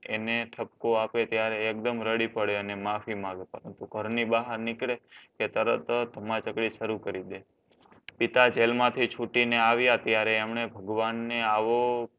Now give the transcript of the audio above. એને ઠપકો આપે ત્યારે એકદમ રડી પડે અને માફી માંગે પરંતુ ઘરની બહાર નીકળે કે તરત જ ભમાચક્ડી શરૂ કરી દે પિતા જેલ માંથી છૂટીને આવ્યા ત્યારે એમણે ભગવાનને આવો